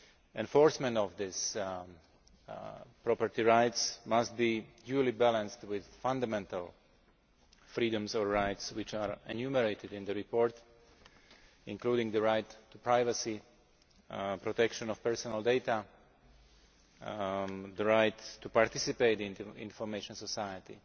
Enforcement of these property rights must be duly balanced with fundamental freedoms or rights, which are enumerated in the report, including the right to privacy, protection of personal data and the right to participate in the information society.